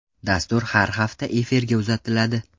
Dastur har hafta efirga uzatiladi.